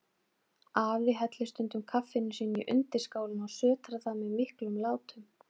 Afi hellir stundum kaffinu sínu í undirskálina og sötrar það með miklum látum.